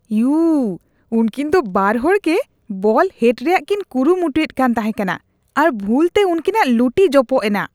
U ! ᱩᱝᱠᱤᱱ ᱫᱚ ᱵᱟᱨ ᱦᱚᱲᱜᱮ ᱵᱚᱞ ᱦᱮᱰ ᱨᱮᱭᱟᱜ ᱠᱤᱱ ᱠᱩᱨᱩᱢᱩᱴᱩᱭᱮᱫ ᱠᱟᱱ ᱛᱟᱦᱮᱠᱟᱱᱟ ᱟᱨ ᱵᱷᱩᱞᱛᱮ ᱩᱝᱠᱤᱱᱟᱜ ᱞᱩᱴᱤ ᱡᱚᱯᱚᱜ ᱮᱱᱟ ᱾